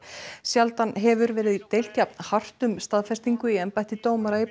sjaldan hefur verið deilt jafn hart um staðfestingu í embætti dómara í